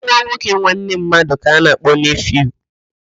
Nwa nwoke nwanne mmadụ ka a na-akpọ neefiu